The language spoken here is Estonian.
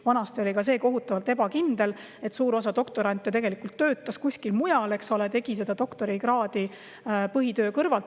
Vanasti oli ka see kohutavalt ebakindel, suur osa doktorante tegelikult töötas kuskil mujal ja tegi doktorikraadi põhitöö kõrvalt.